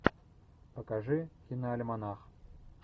покажи киноальманах